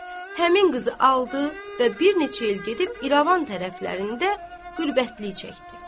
Həmin qızı aldı və bir neçə il gedib İrəvan tərəflərində qürbətlik çəkdi.